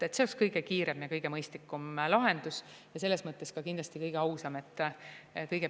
See oleks kõige kiirem ja kõige mõistlikum lahendus ja selles mõttes ka kindlasti kõige ausam.